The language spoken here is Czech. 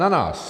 Na nás!